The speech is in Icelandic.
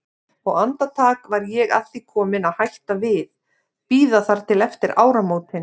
Og andartak var ég að því komin að hætta við, bíða þar til eftir áramótin.